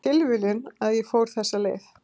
Tilviljun að ég fór þessa leið